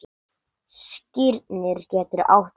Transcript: Skírnir getur átt við